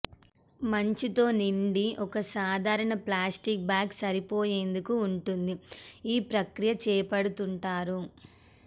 మంచు తో నిండి ఒక సాధారణ ప్లాస్టిక్ బ్యాగ్ సరిపోయేందుకు ఉంటుంది ఈ ప్రక్రియ చేపడుతుంటారు